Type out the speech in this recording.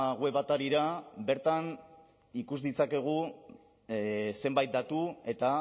web atarira bertan ikus ditzakegu zenbait datu eta